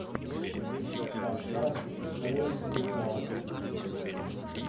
поставь трэш метал